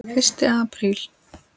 FYRSTI APRÍL